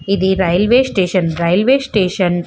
ఇది railway station railway station --